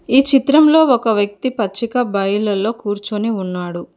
ఈ చిత్రంలో ఒక వ్యక్తి పచ్చిక బయలల్లో కూర్చుని ఉన్నాడు.